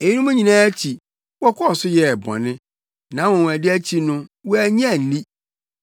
Eyinom nyinaa akyi, wɔkɔɔ so yɛɛ bɔne; nʼanwonwade akyi no, wɔannye anni.